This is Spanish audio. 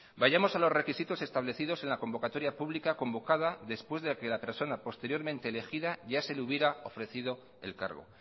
vayamos a los requisitos establecidos en la convocatoria pública convocada después de que la persona posteriormente elegida ya se le hubiera ofrecido el cargo